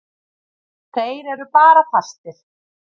Þeir eru bara fastir.